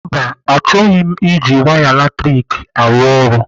Mba, achọghị m iji waya latrik arụ ọrụ.